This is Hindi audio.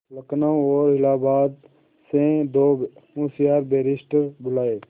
लखनऊ और इलाहाबाद से दो होशियार बैरिस्टिर बुलाये